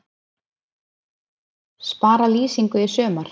Spara lýsingu í sumar